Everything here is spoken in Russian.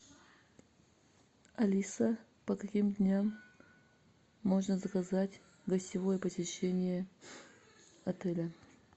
алиса по каким дням можно заказать гостевое посещение отеля